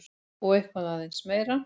Og eitthvað aðeins meira!